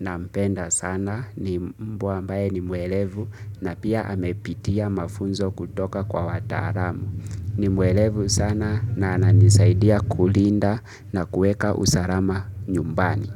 na mpenda sana ni mbwa ambaye ni mwelevu na pia amepitia mafunzo kutoka kwa wataramu. Ni muelevu sana na ananisaidia kulinda na kueka usarama nyumbani.